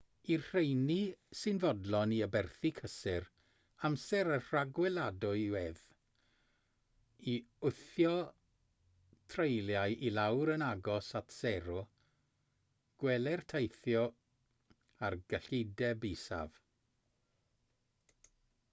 i'r rheini sy'n fodlon i aberthu cysur amser a rhagweladwyedd i wthio treuliau i lawr yn agos at sero gweler teithio ar gyllideb isaf